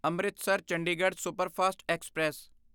Amritsar Chandigarh superfast express